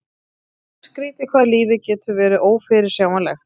Skrýtið hvað lífið getur verið ófyrirsjáanlegt.